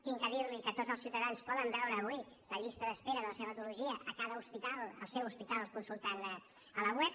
he de dir li que tots els ciutadans poden veure avui la llista d’espera de la seva patologia a cada hospital al seu hospital consultant la web